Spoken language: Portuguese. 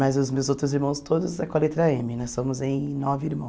Mas os meus outros irmãos todos são com a letra eme. Nós somos em nove irmãos.